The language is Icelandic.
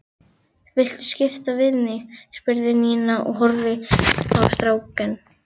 Viltu skipta við mig? spurði Nína og horfði á strákinn.